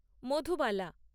Madhubala